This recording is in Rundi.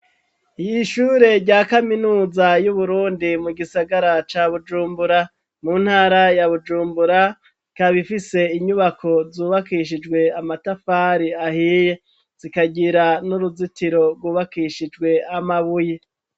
Iyishure rya kaminuza y'uburundi, mu gisagara ca bujumbura, mu ntara ya bujumbura, Ikabifise inyubako zubakishijwe amatafari ahiye, zikagira n'uruzitiro rwubakishijwe amabuye.